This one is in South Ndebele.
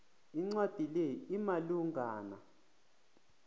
incwadi le imalungana